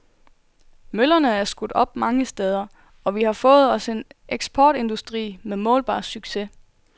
Møllerne er skudt op mange steder, og vi har fået os en eksportindustri med målbar succes.